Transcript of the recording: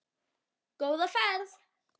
Góða ferð,